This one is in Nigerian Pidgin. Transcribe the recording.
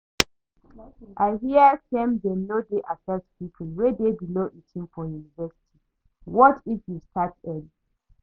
I hear say dem no dey accept people wey dey below eighteen for university, what if you start school early?